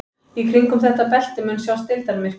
Í kringum þetta belti mun sjást deildarmyrkvi.